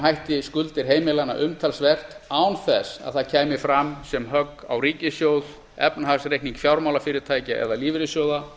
hætti skuldir heimilanna umtalsvert án þess að það kæmi fram sem högg á ríkissjóð efnahagsreikning fjármálafyrirtækja eða lífeyrissjóða